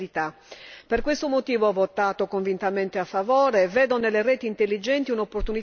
Vedo nelle reti intelligenti un'opportunità soprattutto per le aree più svantaggiate come le isole del Sud Europa.